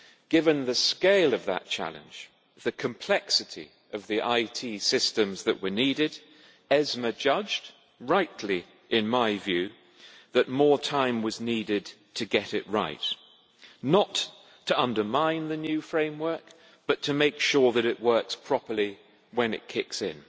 Given the scale of that challenge, the complexity of the IT systems that were needed, the European Securities and Markets Authority judged rightly, in my view that more time was needed to get it right, not to undermine the new framework but to make sure that it works properly when it kicks in.